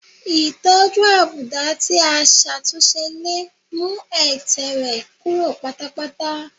Ìtọ́jú àbùdá tí a ṣàtúnṣe lè mú ẹ̀tẹ̀ rẹ́ kúrò pátápátá